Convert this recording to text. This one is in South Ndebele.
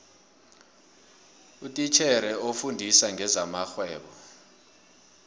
utitjhere ofundisa ngezamarhwebo